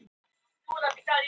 Íslensk rannsókn á mansali